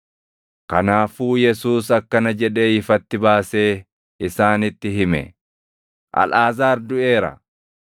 Kanaafuu Yesuus akkana jedhee ifatti baasee isaanitti hime; “Alʼaazaar duʼeera;